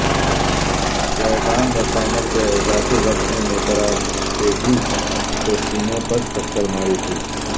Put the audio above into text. Zidane نے final کے اضافی وقت میں میتاراتزی کو سینے پر ٹکر ماری تھی